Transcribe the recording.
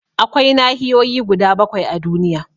Akwai nahiyoyi guda bakwai a duniya